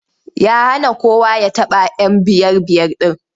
Ya hana kowa ya taɓa 'yan biyar-biyar ɗin.